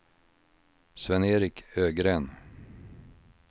Sven-Erik Ögren